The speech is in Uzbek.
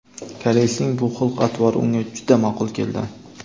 Koreysning bu xulq-atvori unga juda maʼqul keldi.